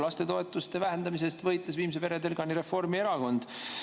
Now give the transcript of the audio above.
Lastetoetuste vähendamise eest võitles viimse veretilgani Reformierakond.